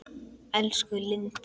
Elsku Lindi.